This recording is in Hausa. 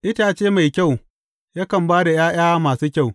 Itace mai kyau, yakan ba da ’ya’ya masu kyau.